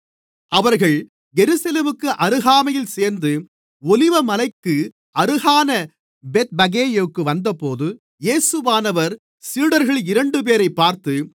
அவர்கள் எருசலேமுக்கு அருகாமையில் சேர்ந்து ஒலிவமலைக்கு அருகான பெத்பகேயுக்கு வந்தபோது இயேசுவானவர் சீடர்களில் இரண்டுபேரைப் பார்த்து